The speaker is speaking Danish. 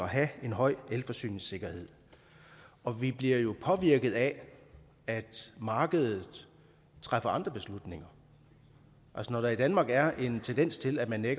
have en høj forsyningssikkerhed og vi bliver jo påvirket af at markedet træffer andre beslutninger når der i danmark er en tendens til at man